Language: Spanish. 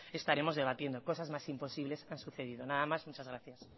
estaremos debatiendo cosas más imposibles han sucedido nada más muchas gracias